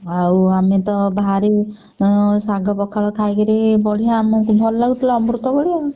ଆଉ ଆମେତ ଭାରୀ ଉଁ ଶାଗ ପଖାଳ ଖାଇକିରି ବଢିଆ ଆମକୁ ଭଲ ଲାଗୁଥିଲା ଅମୃତ ଭଳିଆ।